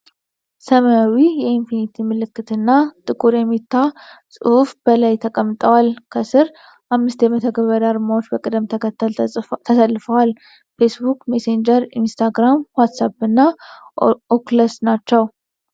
ሰማያዊ የኢንፊኒቲ ምልክት እና ጥቁር የሜታ ጽሑፍ በላይ ተቀምጠዋል። ከስር አምስት የመተግበሪያ አርማዎች በቅደም ተከተል ተሰልፈዋል፡- ፌስቡክ፣ ሜሴንጀር፣ ኢንስታግራም፣ ዋትስአፕ እና ኦኩለስ ናቸው።